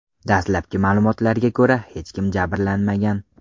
Dastlabki ma’lumotlarga ko‘ra, hech kim jabrlanmagan.